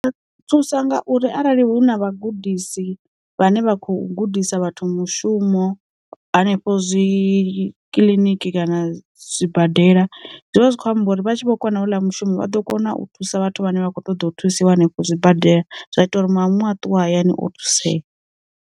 Thusa ngauri arali hu na vhagudisi vhane vha kho gudisa vhathu mushumo hanefho zwi kiḽiniki kana zwibadela, zwivha zwi kho amba uri vha tshi vho kona hoḽa mushumo vha ḓo kona u thusa vhathu vhane vha kho ṱoḓa u thusiwa hanefho zwi badela zwa ita uri madamu a ṱuwa hayani o thusea.